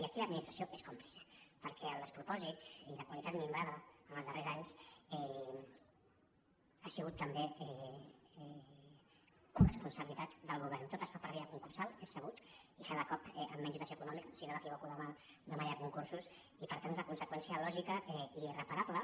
i aquí l’administració n’és còmplice perquè el despro·pòsit i la qualitat minvada en els darrers anys ha sigut també coresponsabilitat del govern tot es fa per via concursal és sabut i cada cop amb menys dotació econòmica si no m’equivoco demà hi ha concursos i per tant n’és la conseqüència lògica i irreparable